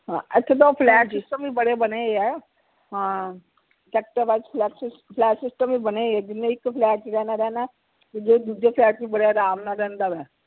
ਹਾਂ ਇਥੇ ਤਾ ਉਹ flat system ਵੀ ਬੜੇ ਬਣੇ ਓਏ ਐ ਹਾਂ sector flat system ਬਣੇ ਹੋਏ ਜਿੰਨੇ ਇਕ flat ਚ ਰਹਿਣਾ ਰਹਿਣਾ ਜੇ ਦੂਜੇ flat ਚ ਬੜੇ ਅਰਾਮ ਨਾਲ ਰਹਿੰਦਾ ਆ